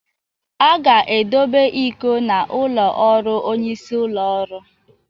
A ga-edobe iko a n'ụlọ ọrụ onyeisi ụlọ ọrụ